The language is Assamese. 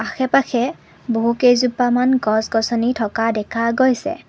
আশে পাশে বহুকেইজোপামান গছ গছনি থকা দেখা গৈছে।